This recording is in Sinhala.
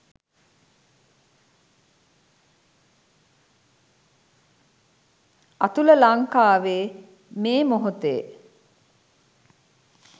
අතුල ලංකාවෙ මේ මොහොතෙ